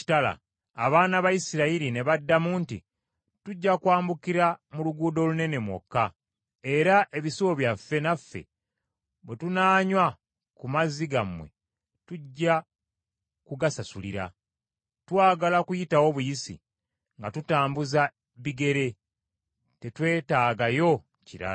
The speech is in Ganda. Abaana ba Isirayiri ne baddamu nti, “Tujja kwambukira mu luguudo olunene mwokka, era ebisibo byaffe naffe bwe tunaanywa ku mazzi gammwe tujja kugasasulira. Twagala kuyitawo buyisi nga tutambuza bigere, tetwetaagayo kirala.”